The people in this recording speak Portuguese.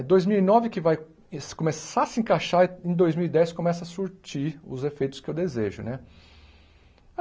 É dois mil e nove que vai es começar a se encaixar em dois mil e dez começa a surtir os efeitos que eu desejo, né?